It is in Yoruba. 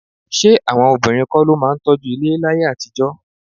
Ṣé àwọn obìnrin kọ́ ló máa ń tọ́jú ilé láyé àtijọ́?